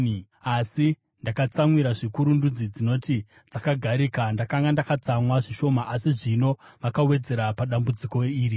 asi ndakatsamwira zvikuru ndudzi dzinoti dzakagarika. Ndakanga ndakatsamwa zvishoma, asi ivo vakawedzera padambudziko iri.’